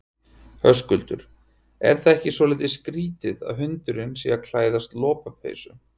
Höskuldur: Er það ekki svolítið skrítið að hundur sé að klæðast lopapeysu?